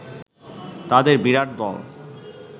তাদের বিরাট দল